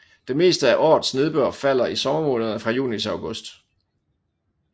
Det meste af årets nedbør falder i sommermånederne fra juni til august